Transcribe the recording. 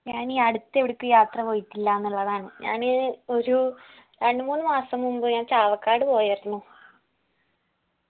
ഞാനീ അടുത്ത് എവടക്കും യാത്ര പോയിട്ടില്ലന്നുള്ളതാണ് ഞാന് ഒരു രണ്ട് മൂന്ന് മാസം മുമ്പ് ഞാൻ ചാവക്കാട് പോയായിരുന്നു